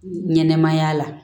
Ɲɛnɛmaya la